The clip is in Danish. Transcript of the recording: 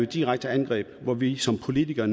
direkte angreb hvor vi som politikere